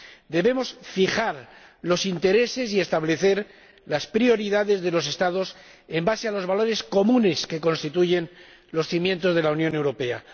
Debemos fijar los intereses y establecer las prioridades de los estados sobre la base de los valores comunes que constituyen los cimientos de la Unión Europea.